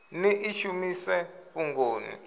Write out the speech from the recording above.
ni ḽi shumise fhungoni ḽi